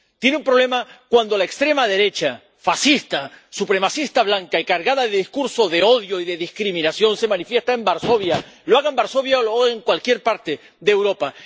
Tiene un problema cuando la extrema derecha, fascista, supremacista blanca y cargada de discursos de odio y de discriminación, se manifiesta en Varsovia —lo haga en Varsovia o lo haga en cualquier parte de Europa—.